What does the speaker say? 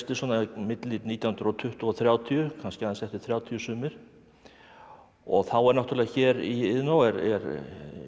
svona milli nítján hundruð og tuttugu og þrjátíu kannski aðeins eftir þrjátíu sumir þá er náttúrulega hér í Iðnó er